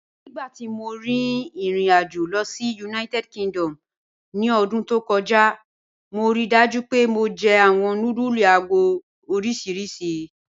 Nígbàtí mó rí irin-àjò lọ sí United Kingdom ní ọdún tó kọja, mó ríì dájú pé mó jẹ̀ awọn nùdúlù àgọ̀ oriṣíríṣì.